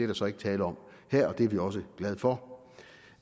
der så ikke tale om her og det er vi også glade for